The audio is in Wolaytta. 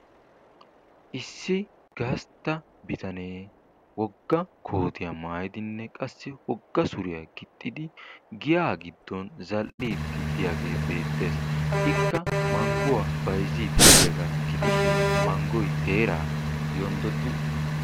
Issi gastta bitanee woga kootiya maayidinne qassi woga suriya gixxidi giyaa giddon zal'iidi diyaagee beetees. Ikka manguwa bayziidi diyagaa gidishin mangoy teeraa yondodi uttis.